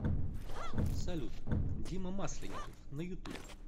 салют дима масленников на ютуб